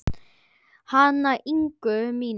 Hana Ingu mína.